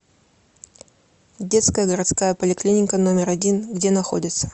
детская городская поликлиника номер один где находится